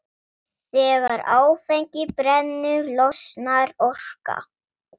Þegar áfengi brennur losnar orka.